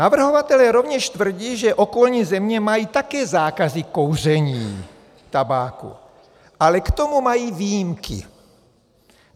Navrhovatelé rovněž tvrdí, že okolní země mají také zákazy kouření tabáku, ale k tomu mají výjimky.